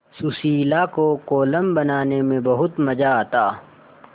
सुशीला को कोलम बनाने में बहुत मज़ा आता